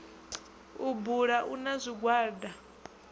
u bu a na zwigwada